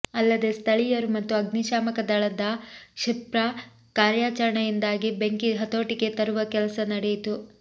ಅಲ್ಲದೇ ಸ್ಥಳಿಯರು ಮತ್ತು ಅಗ್ನಿಶಾಮಕದಳದ ಕ್ಷಿಪ್ರ ಕಾರ್ಯಾಚರಣೆಯಿಂದಾಗಿ ಬೆಂಕಿ ಹತೋಟಿಗೆ ತರುವ ಕೆಲಸ ನಡೆಯಿತು